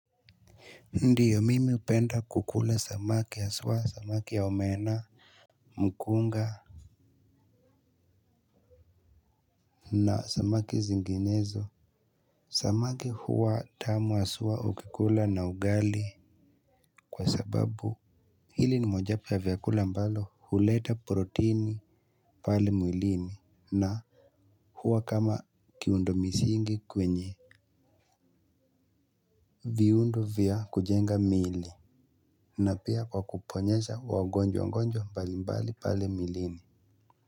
Ndiyo mimi upenda kukula samaki yasuwa samaki ya omena. Mkunga na samaki zinginezo samaki huwa tamu asuwa ukikula na ugali kwa sababu hili ni mojapu ya vyakula ambalo huleta proteini pale mwilini na huwa kama kiundo misi ingi kwenye viundo vya kujenga mili na pia kwa kuponyesha wagonjwa ngonjwa mbali mbali pale milini Muzika.